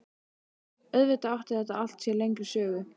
Auðvitað átti þetta allt sér lengri sögu.